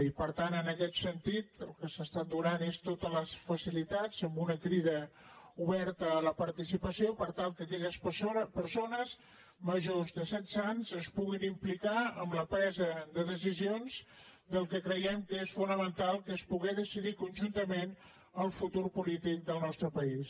i per tant en aquest sentit el que s’ha estat donant és totes les facilitats amb una crida oberta a la participació per tal que aquelles persones majors de setze anys es puguin implicar en la presa de decisions del que creiem que és fonamental que és poder decidir conjuntament el futur polític del nostre país